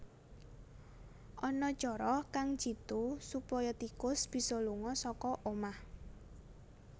Ana cara kang jitu supaya tikus bisa lunga saka omah